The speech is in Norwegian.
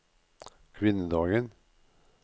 kvinnedagen